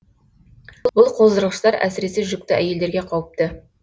бұл қоздырғыштар әсіресе жүкті әйелдерге қауіпті